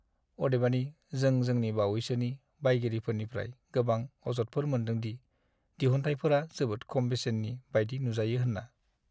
अदेबानि, जों जोंनि बावैसोनि बायगिरिफोरनिफ्राय गोबां अजदफोर मोनदों दि दिहुनथायफोरा जोबोद खम बेसेननि बायदि नुजायो होनना।